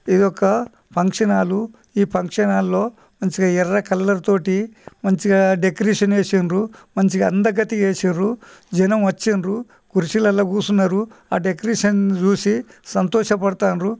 ఇదొక function hall ఈ function hall లో మంచిగా ఎర్ర కలర్ తోటి మంచిగా డెకరేషన్ చేసిర్రు. మంచిగా అందగత్తె చేసిన్రు. జనం వచిర్రు. కుర్చీలలో కూర్చున్నారు. ఆ డెకరేషన్ చూసి సంతోష పడతాండ్రు.